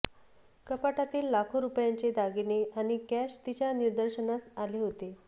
कपाटातील लाखो रुपयांचे दागिने आणि कॅश तिच्या निदर्शनास आले होते